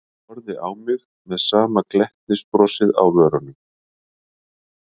Horfði á mig með sama glettnisbrosið á vörunum.